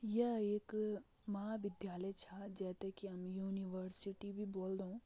यह एक महाविद्यालय छा जै तैं की हम यूनिवर्सिटी भी बोल्दों।